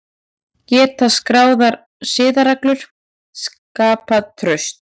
Geta skráðar siðareglur skapað traust?